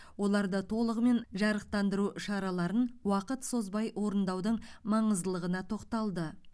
оларды толығымен жарықтандыру шараларын уақыт созбай орындаудың маңыздылығына тоқталды